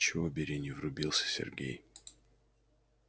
чего бери не врубился сергей